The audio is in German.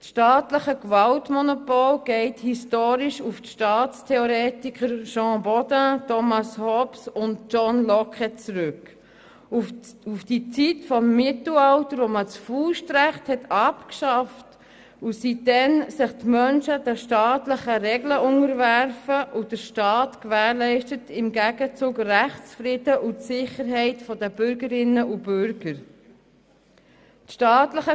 Das staatliche Gewaltmonopol geht historisch auf die Staatstheoretiker Jean Bodin, Thomas Hobbes und John Locke und auf die Zeit des Mittelalters zurück, als das Faustrecht abgeschafft wurde, die Menschen sich den staatlichen Regeln unterwarfen und der Staat im Gegenzug Rechtsfrieden und die Sicherheit der Bürgerinnen und Bürger gewährleistete.